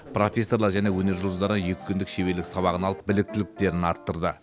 профессорлар және өнер жұлдыздарынан екі күндік шеберлік сабағын алып біліктіліктерін арттырды